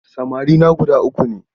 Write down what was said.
Samarina guda uku ne.